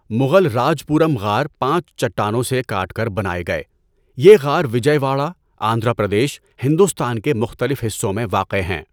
مغل راج پورم غار پانچ چٹانوں سے کاٹ کر بنائے گئے۔ یہ غار وجئے واڑہ، آندھرا پردیش، ہندوستان کے مختلف حصوں میں واقع ہیں۔